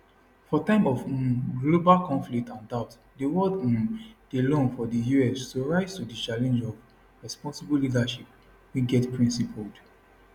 for time of um global conflict and doubt di world um dey long for di us to rise to di challenge of responsible leadership wey get principled